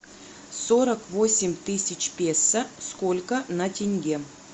сорок восемь тысяч песо сколько на тенге